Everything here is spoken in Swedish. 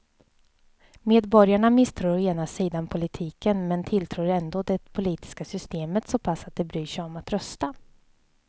Medborgarna misstror å ena sidan politiken men tilltror ändå det politiska systemet så pass att de bryr sig om att rösta.